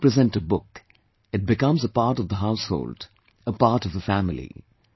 But when you present a book, it becomes a part of the household, a part of the family